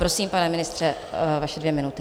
Prosím, pane ministře, vaše dvě minuty.